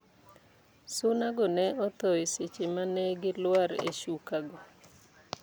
Suna go ne otho e seche manegi lwar e shuka go